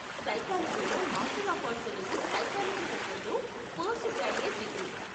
సైకాలజీలో master of arts అనేది psychology రంగంలో పోస్ట్ గ్రాడ్యుయేట్ డిగ్రీ.